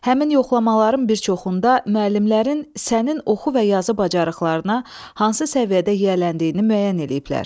Həmin yoxlamaların bir çoxunda müəllimlərin sənin oxu və yazı bacarıqlarına hansı səviyyədə yiyələndiyini müəyyən eləyiblər.